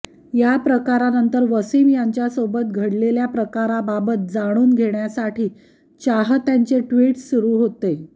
या प्रकारानंतर वसीम यांच्यासोबत घडलेल्या प्रकाराबाबत जाणून घेण्यासाठी चाहत्यांचे ट्विट्स सुरु होते